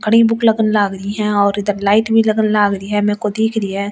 कड़ी भूख लगन लग रही है और इधर लाइट भी लगन लग रही है मेरे को दिख रही है।